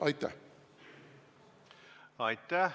Aitäh!